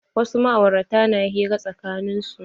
Wasu ma'aurata na hira tsakanin su.